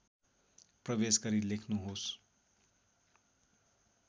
प्रवेश गरी लेख्नुहोस्